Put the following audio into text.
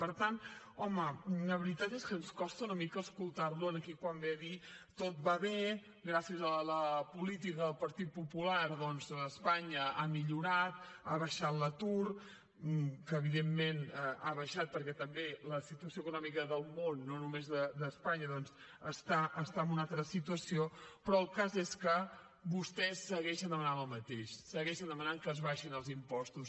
per tant home la veritat és que ens costa una mica escoltar lo aquí quan ve a dir tot va bé gràcies a la política del partit popular doncs espanya ha millorat ha baixat l’atur que evidentment ha baixat perquè la situació econòmica del món no només d’espanya doncs està en una altra situació però el cas és que vostès segueixen demanant el mateix segueixen demanant que s’abaixin els impostos